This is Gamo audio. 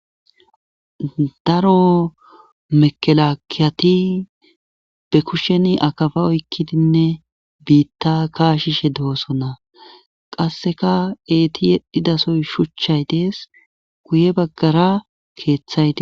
Daro mekelakiyati be kusheni akaba oykkidinne biitta kaashishe doosona qasseka eeti yedhidasoy shuchchay dees guye baggara keeththaye